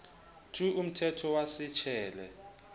two umthetho wa se tjele